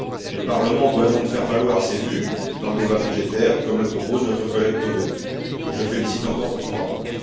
Le Parlement doit donc faire valoir ses vues dans le débat budgétaire, comme le propose notre collègue Böge, que je félicite encore pour son rapport.